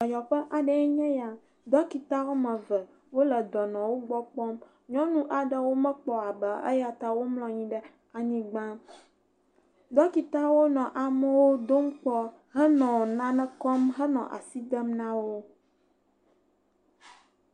Dɔyɔƒe aɖee nye eyea dɔkita woame eve womekpɔ aba o eya ta womlɔ anyiu ɖe anyigba. Dɔkitawo nmɔ amewo dom kpɔ henɔ nane kɔm nɔ asi dem na wo.